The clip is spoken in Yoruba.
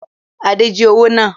Adé jí owó náà